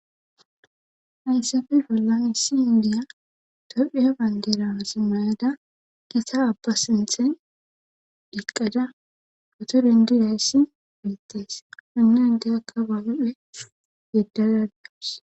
Hayssappe bollan issi nayiya tophiya bandira mayada gita abba sinththen eqqada motoriyan gizayssi beetees. a de'iya akababen yegada dawus.